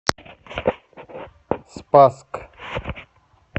спасск